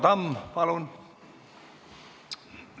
Tarmo Tamm, palun!